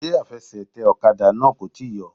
Ṣé afẹsẹ̀tẹ̀ ọ̀kadà náà kò tíì yọ?